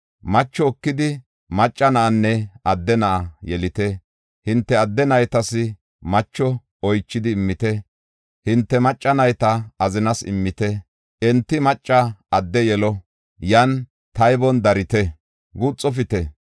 Macho ekidi macca na7anne adde na7a yelite. Hinte adde naytas macho oychidi immite; hinte macca nayta azinas immite. Enti macca adde yelo; yan taybon darite; guuxofite.